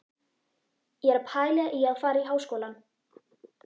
Ég er að pæla í að fara í Háskólann.